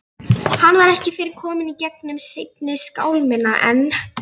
Hann var ekki fyrr kominn í gegnum seinni skálmina en